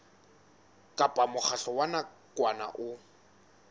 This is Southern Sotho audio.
kapa mokgatlo wa nakwana o